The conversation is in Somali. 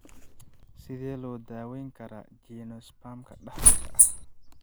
Sidee loo daweyn karaa geniospasm-ka dhaxalka ah?